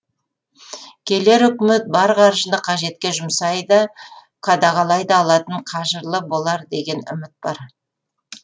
келер үкімет бар қаржыны қажетке жұмсай да қадағалай да алатын қажырлы болар деген үміт бар